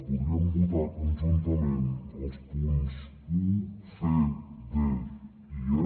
podríem votar conjuntament els punts un c d i fons